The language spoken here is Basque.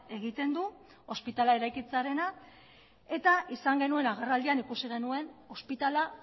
egiten du ospitalea eraikitzearena eta izan genuen agerraldian ikusi genuen ospitalea